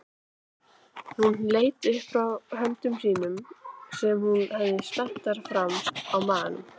Hún leit upp frá höndum sínum sem hún hafði spenntar framan á maganum.